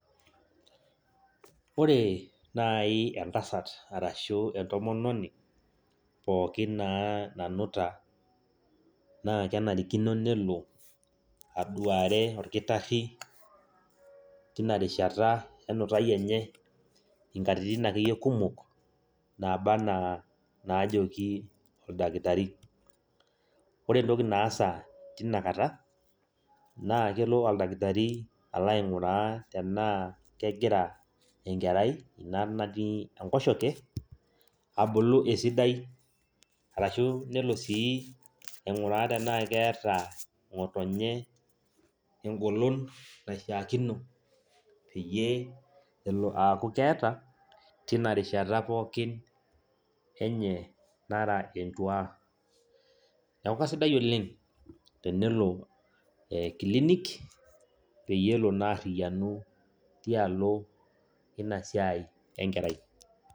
Ore naai entasat arashu entomoni pookin nanuta naa kenarikino nelo aduare olkitarri tina rishata enutai enye nkatitin akeyie kumok naaba enaa naajoki oldakitari, ore entoki naasa tina kata naa kelo oldakitari aing'uraa enaa kegira ina kerai natii enkoshoke abulu esidai arashu nelo sii aing'uraa enaa keeta ng'otonye engolon naishiiakino peyie elo aaku keeta tina rishata pookin enye nara entuaa, neeku kasidai oleng' tenelo clinic peyie elo naa aarriyianu tina siai enkerai.